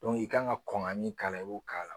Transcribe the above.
i ka kan ka kɔn ka min k'a la i b'o k'a la